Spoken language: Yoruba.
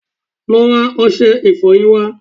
Lọ́ ra ọṣẹ ìfọyín wá